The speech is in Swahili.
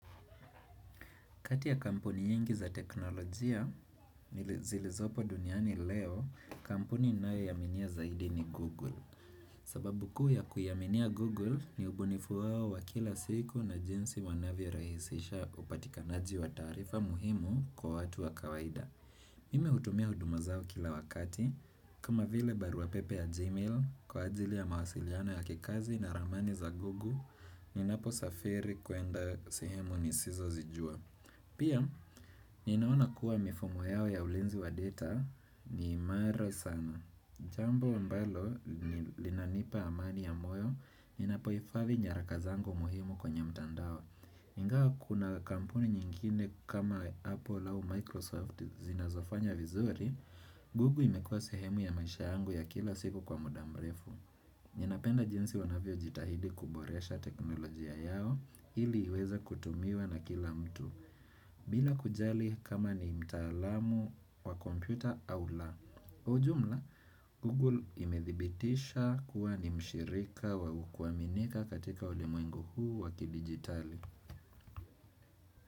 Kati ya kampuni nyingi za teknolojia, zilizopo duniani leo, kampuni ninayoiaminia zaidi ni Google. Sababu kuu ya kuiaminia Google ni ubunifu wao wa kila siku na jinsi wanavyo rahisisha upatikanaji wa taarifa muhimu kwa watu wa kawaida. Mimi hutumia huduma zao kila wakati, kama vile baruapepe ya Gmail kwa ajili ya mawasiliano ya kikazi na ramani za Google ninapo safiri kuenda sehemu nisizo zijua. Pia, ninaona kuwa mifumo yao ya ulinzi wa data ni imara sana. Jambo ambalo, linanipa amani ya moyo, ninapoifadhi nyaraka zangu muhimu kwenye mtandao. Ingawa kuna kampuni nyingine kama Apple au Microsoft zinazofanya vizuri, google imekuwa sehemu ya maisha yangu ya kila siku kwa muda mrefu. Ninapenda jinsi wanavyo jitahidi kuboresha teknolojia yao, ili iweza kutumiwa na kila mtu. Bila kujali kama ni mtaalamu wa kompyuta au la. Kwa ujumla, Google imedhibitisha kuwa ni mshirika wakuaminika katika ulimwengu huu wakidigitali.